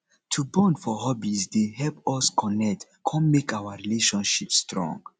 to bond for hobbies dey help us connect come make our relationships strong